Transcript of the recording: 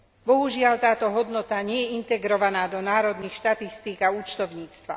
Bohužiaľ, táto hodnota nie je integrovaná do národných štatistík a účtovníctva.